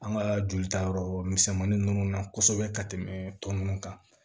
An ka joli ta yɔrɔ misɛnmanin ninnu na kosɛbɛ ka tɛmɛ tɔ ninnu kan